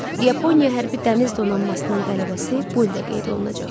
Yaponiya hərbi dəniz donanmasının qələbəsi bu ildə qeyd olunacaq.